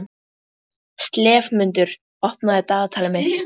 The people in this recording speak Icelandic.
slefmundur, opnaðu dagatalið mitt.